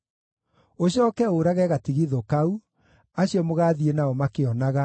“Ũcooke ũũrage gatigithũ kau, acio mũgaathiĩ nao makĩonaga,